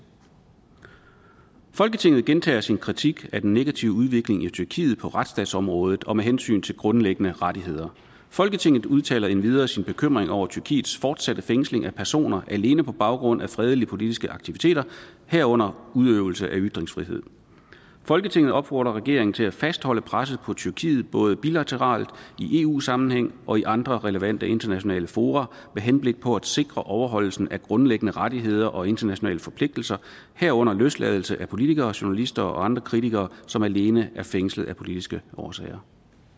folketinget gentager sin kritik af den negative udvikling i tyrkiet på retsstatsområdet og med hensyn til grundlæggende rettigheder folketinget udtaler endvidere sin bekymring over tyrkiets fortsatte fængsling af personer alene på baggrund af fredelige politiske aktiviteter herunder udøvelse af ytringsfrihed folketinget opfordrer regeringen til at fastholde presset på tyrkiet både bilateralt i eu sammenhæng og i andre relevante internationale fora med henblik på at sikre overholdelsen af grundlæggende rettigheder og internationale forpligtelser herunder løsladelse af politikere journalister og andre kritikere som alene er fængslet af politiske årsager